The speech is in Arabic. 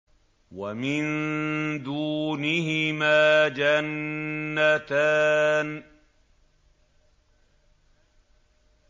وَمِن دُونِهِمَا جَنَّتَانِ